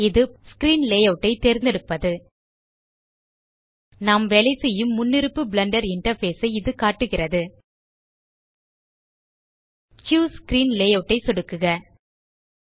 இது screen layout ஐ தேர்ந்தெடுப்பது நாம் வேலை செய்யும் முன்னிருப்பு பிளெண்டர் இன்டர்ஃபேஸ் ஐ இது காட்டுகிறது சூஸ் ஸ்க்ரீன் லேயூட் ஐ சொடுக்குக